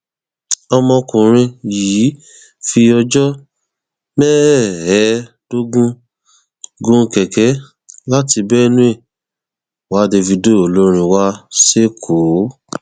ọmọkùnrin yìí fi ọjọ mẹẹẹdógún gun kẹkẹ láti benue wa davido olórin wa sẹkọọ